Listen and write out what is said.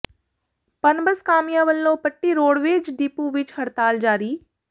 ਪਨਬੱਸ ਕਾਮਿਆਂ ਵੱਲੋਂ Patti roadways depot ਵਿੱਚ ਹੜਤਾਲ ਜਾਰੀ